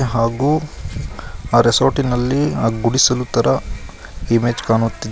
ಹಾಗು ಆ ರೆಸಾರ್ಟಿ ನಲ್ಲಿ ಆ ಗುಡಿಸಲು ಥರಾ ಇಮೇಜ್ ಕಾಣುತ್ತಿದೆ.